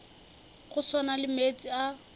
go swana le meetse a